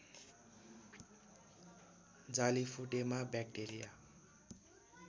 जाली फुटेमा ब्याक्टेरिया